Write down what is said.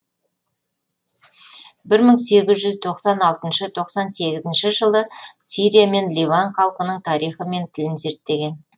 бір мың сегіз жүз тоқсан алтыншы тоқсан сегізінші жылы сирия мен ливан халқының тарихы мен тілін зерттеген